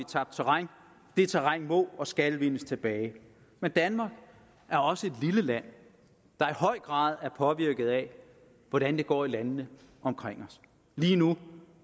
tabt terræn det terræn må og skal vindes tilbage men danmark er også et lille land der i høj grad er påvirket af hvordan det går i landene omkring os lige nu